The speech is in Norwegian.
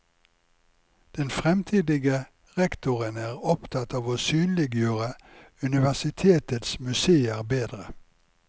Den fremtidige rektoren er opptatt av å synliggjøre universitetets museer bedre.